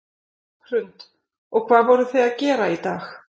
Hrund: Og hvað voruð þið að gera í dag?